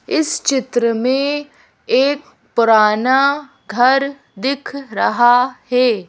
इस चित्र में एक पुराना घर दिख रहा है।